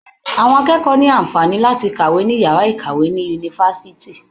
Àwọn akẹ́kọ̀ọ́ ní àǹfàaní láti kàwé ní yàrá ìkàwé ní Yunifásitì.